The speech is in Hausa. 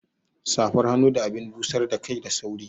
Safar hannu da abin busar da kai da sauri